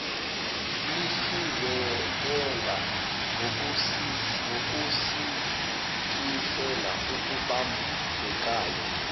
lihlinzekela ngokusikisela okubambekayo